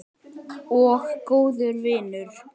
Og góður vinur.